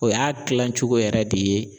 O y'a kilacogo yɛrɛ de ye.